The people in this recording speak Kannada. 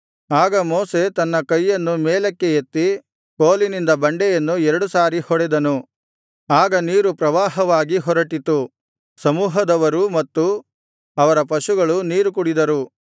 ಆಗ ಮೋಶೆ ತನ್ನ ಕೈಯನ್ನು ಮೇಲಕ್ಕೆ ಎತ್ತಿ ಕೋಲಿನಿಂದ ಬಂಡೆಯನ್ನು ಎರಡು ಸಾರಿ ಹೊಡೆದನು ಆಗ ನೀರು ಪ್ರವಾಹವಾಗಿ ಹೊರಟಿತು ಸಮೂಹದವರೂ ಮತ್ತು ಅವರ ಪಶುಗಳೂ ನೀರು ಕುಡಿದರು